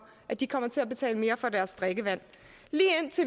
at de kommer til at betale mere for deres drikkevand